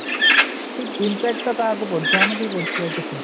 ଏଇ impact ଟା କାହାକୁ ପଡୁଛି ଅମକୁହିଁ ପଡୁଛି ଆଉ କିଛିନାହିଁ